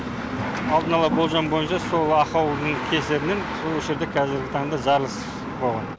алдын ала болжам бойынша сол ақаудың кесірінен сол осы жерде қазіргі таңда жарылыс болған